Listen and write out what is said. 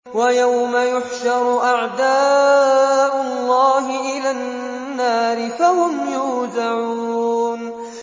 وَيَوْمَ يُحْشَرُ أَعْدَاءُ اللَّهِ إِلَى النَّارِ فَهُمْ يُوزَعُونَ